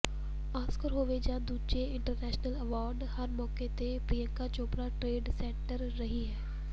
Oscar ਹੋਵੇ ਜਾਂ ਦੂਜੇ ਇੰਟਰਨੈਸ਼ਨਲ ਐਵਾਰਡ ਹਰ ਮੌਕੇ ਤੇ ਪ੍ਰਿਯੰਕਾ ਚੋਪੜਾ ਟ੍ਰੇਂਡ ਸੈਟਰ ਰਹੀ ਹੈ